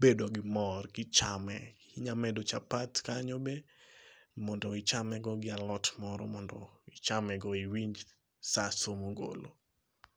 bedo gi mor kichame, inya medo chapat kanyo be mondo ichame go gi alot moro, mondo ichame go iwinj saso ngolo